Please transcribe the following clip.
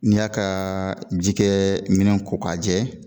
N'i y'a kaa jikɛminɛn ko k'a jɛ